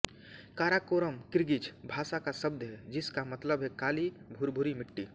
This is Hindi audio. काराकोरम किर्गिज़ भाषा का शब्द है जिस का मतलब है काली भुरभुरी मिट्टी